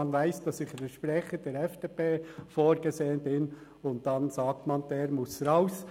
Man weiss, dass ich als Sprecher der FDP vorgesehen bin, und dann sagt man: «Der muss raus.»